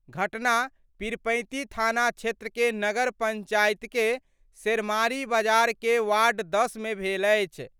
घटना पीरपैंती थाना क्षेत्र के नगर पंचायत के शेरमारी बाजार के वार्ड-10 मे भेल अछि।